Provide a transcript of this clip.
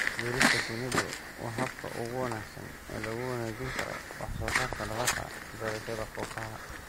Beerista shinnidu waa habka ugu wanaagsan ee lagu wanaajin karo wax soo saarka dalagga beerashada kookaha.